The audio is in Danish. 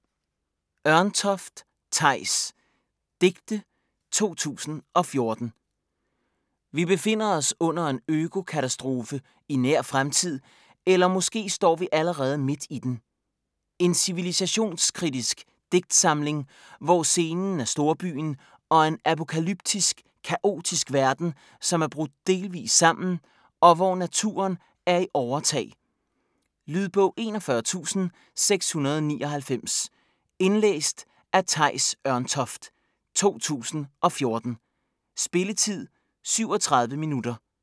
Ørntoft, Theis: Digte 2014 Vi befinder os under en økokatastrofe i nær fremtid, eller måske står vi allerede midt i den. En civilisationskritisk digtsamling, hvor scenen er storbyen og en apokalyptisk, kaotisk verden, som er brudt delvis sammen, og hvor naturen er i overtag. Lydbog 41699 Indlæst af Theis Ørntoft, 2014. Spilletid: 0 timer, 37 minutter.